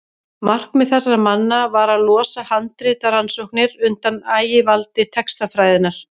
markmið þessara manna var að losa handritarannsóknir undan ægivaldi textafræðinnar